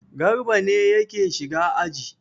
Garba ne yake shiga aji.